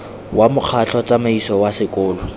wa mokgatlho tsamaiso wa sekolo